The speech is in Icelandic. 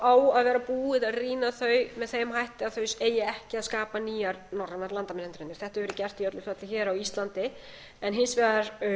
á að vera búið að rýna þau með þeim hætti að þau eigi ekki að skapa nýjar landamærahindranir þetta hefur verið gert í öllu falli hér á íslandi en hins vegar